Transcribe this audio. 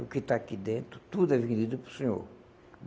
O que está aqui dentro, tudo é vendido para o senhor.